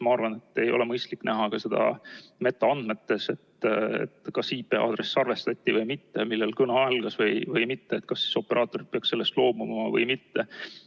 Ma arvan, et ei ole mõistlik näha seda ka metaandmetes, et kas IP-aadress salvestati või mitte, millal kõne algas või mitte, kas operaatorid peaksid sellest loobuma või mitte.